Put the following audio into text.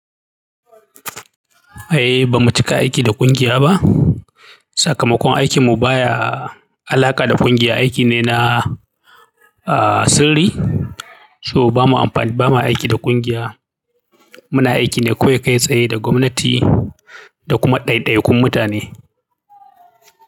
Ai ba mu cika aiki da ƙungiya ba. Sakamakon aikinmu baya alaƙa da ƙungiya, aiki ne na, ah, sirri. So bamu amfani, ba mu aiki da kungiya. Muna aiki ne kawai kai tsaye da gwamnati da kuma ɗaiɗaikun mutane.